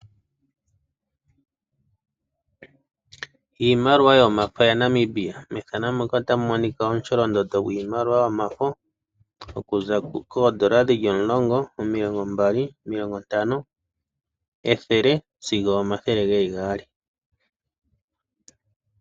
Iimaliwa yomafo ya Namibia, methano muka otamu monika omusholondondo gwiimaliwa yomafo. Okuza koondola dhili omulongo, omilongo mbali, omilongo ntano, ethele sigo omathele geli gaali.